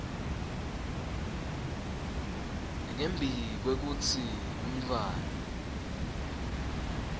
ngembi kwekutsi umntfwana